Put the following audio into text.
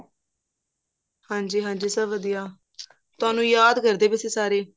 ਹਾਂਜੀ ਹਾਂਜੀ ਸਭ ਵਧੀਆ ਤੁਹਾਨੂੰ ਯਾਦ ਕਰਦੇ ਸੀ ਸਾਰੇ